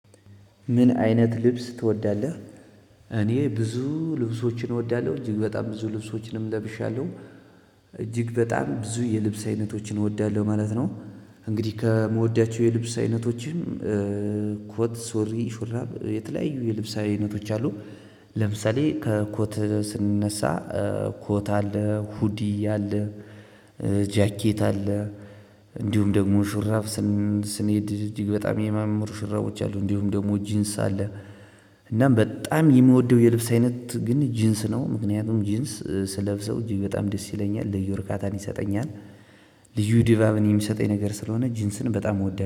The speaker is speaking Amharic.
ምን አይነት ልብስ ትወዳለህ? እኔ ብዙ ልብሶችን እወዳለሁ እጅግ በጣም ብዙ ልብሶችንም ለብሻለሁ እጅግ በጣም ብዙ የልብስ አይነቶችን እወዳለሁ ማለት ነው። እንግዲህ ከምወዳቸው የልብስ አይነቶችም ኮት ሶሪ ሹራብ የተለያዩ የልብስ አይነቶች አሉ። ለምሳሌ ከኮት ስንነሳ ኮት አለ ሁዲ አለ። ጃኬት አለ። እንዲሁም ደግሞ ሹራብ ስንሄድ እጅግ በጣም የማምሩ ሽራቦች አሉ እንዲሁም ደግሞ ጂንስ አለ። እና በጣም የምወደው የልብስ አይነት ጂንስ ነው ምክንያቱም ጂንስ ስለብሰው በጣም ደስ ይለኛል ልዩ እርካታን ይሰጠኛል። ልዩ ድባብን የሚሰጠኝ ነገር ስለሆነ ጂንስን በጣም እወዳለሁ